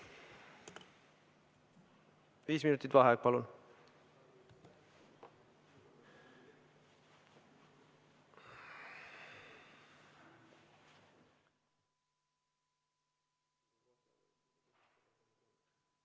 Viis minutit vaheaega.